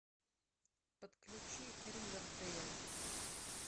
подключи ривердейл